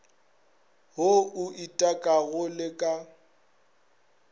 wo o itekago le ka